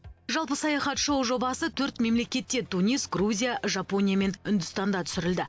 жалпы саяхат шоу жобасы төрт мемлекетте тунис грузия жапония мен үндістанда түсірілді